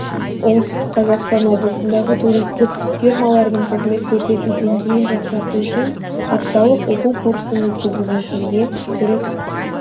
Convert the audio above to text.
оңтүстік қазақстан облысындағы туристік фирмалардың қызмет көрсету деңгейін жақсарту үшін апталық оқу курсын өткізуге келген түрік